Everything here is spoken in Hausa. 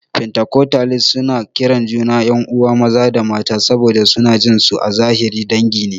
Fentakostalis suna kiran juna 'yan'uwa maza da mata saboda suna jin su a zahiri dangi ne.